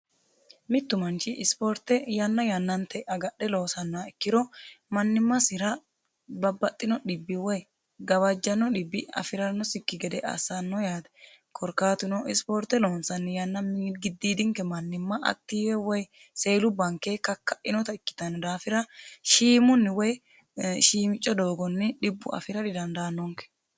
Mitu manchi sporte yanna yannanta agadhe loossanoha ikkiro manimasira babbaxino dhibbi woyi gawajano xibbi afiranosikki gede assano yaate korkaatuno sporte loonsanni yanna gididinke manima woyi seluwanke kakainotta ikkittano daafira shiimunni woyi shiimico doogonni dhibbu afira didandaanonke.